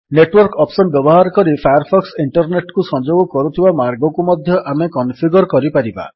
network option ବ୍ୟବହାର କରି Firefox internet କୁ ସଂଯୋଗ କରୁଥିବା ମାର୍ଗକୁ ମଧ୍ୟ ଆମେ କନଫିଗର୍ କରିପାରିବା